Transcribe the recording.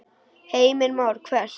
Heimir Már: Hvert?